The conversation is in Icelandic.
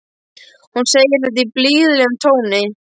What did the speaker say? Hún segir þetta í blíðlegum tóni.